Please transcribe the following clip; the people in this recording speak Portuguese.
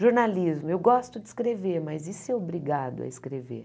Jornalismo, eu gosto de escrever, mas e ser obrigado a escrever?